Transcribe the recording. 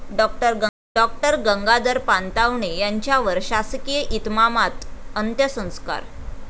डॉ गंगाधर पानतावणे यांच्यावर शासकीय इतमामात अंत्यसंस्कार